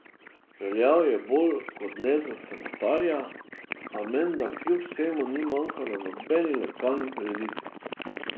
Veljal je bolj kot ne za samotarja, a menda kljub vsemu ni manjkal na nobeni lokalni prireditvi.